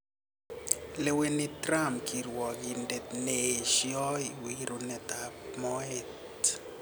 Leweni Trump kirwagindet ne esio wirunet ab moet